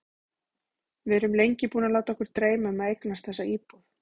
Við erum lengi búin að láta okkur dreyma um að eignast þessa íbúð.